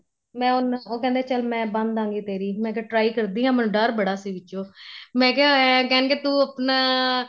ਮੈਂ ਉਹਨਾ ਉਹ ਕਹਿੰਦੇ ਚੱਲ ਮੈਂ ਬੰਨਦਾਗੀ ਤੇਰੀ ਮੈਂ ਕਿਆ try ਕਰਦੀ ਆ ਮੈਨੂੰ ਡਰ ਬੜਾ ਸੀ ਵਿੱਚੋ ਮੈਂ ਇਹ ਕਹਿਣਗੇ ਤੂੰ ਆਪਣਾ